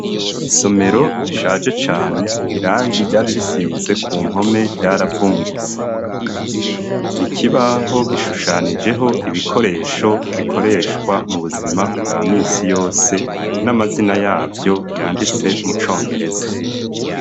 Isomero rishaje cane, irangi ryari risize ku mpome ryaravungutse. Ikibaho gishushanijeho ibikoresho bikoreshwa mu buzima bwa misi yose, n'amazina yavyo yanditse mu congereza.